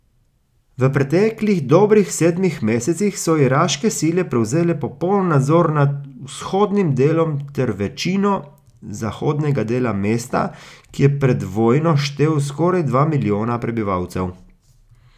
V preteklih dobrih sedmih mesecih so iraške sile prevzele popoln nadzor nad vzhodnim delom ter večino zahodnega dela mesta, ki je pred vojno štel skoraj dva milijona prebivalcev.